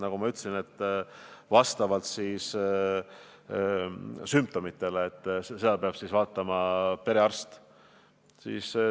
Nagu ma ütlesin, toimub see vastavalt sümptomitele ja seda peab vaatama perearst.